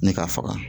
Ne ka faga